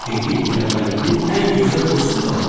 Dedi: tələbəliyimin ən gözəl dostu da Azər.